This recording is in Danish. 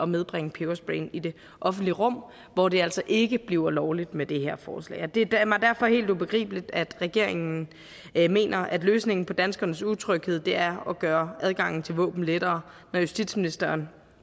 medbringe pebersprayen i det offentlige rum hvor det altså ikke bliver lovligt med det her forslag og det er mig derfor helt ubegribeligt at regeringen mener at løsningen på danskernes utryghed er at gøre adgangen til våben lettere når justitsministeren